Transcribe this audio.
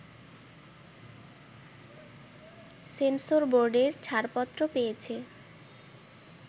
সেন্সরবোর্ডের ছাড়পত্র পেয়েছে